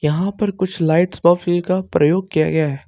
यहां पर कुछ लाइट प्रफील का प्रयोग किया गया है।